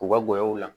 U ka gɔyɔw la